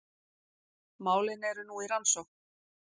Málin eru nú í rannsókn